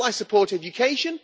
So will I support education?